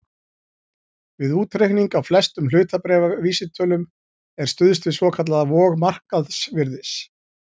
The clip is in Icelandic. Við útreikning á flestum hlutabréfavísitölum er stuðst við svokallaða vog markaðsvirðis.